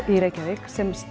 í Reykjavík sem